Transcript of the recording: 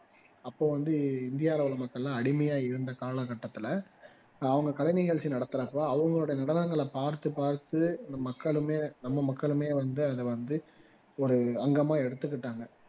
அப்போ வந்து இந்தியாவுல உள்ள மக்கள் எல்லாம் அடிமையா இருந்த கால கட்டத்துல அவங்க கலை நிகழ்ச்சி நடத்துறப்போ அவங்களோட நடனங்களை பார்த்து பார்த்து நம் மக்களுமே நம்ம மக்களுமே வந்து அதுல வந்து ஒரு அங்கமா எடுத்துக்கிட்டாங்க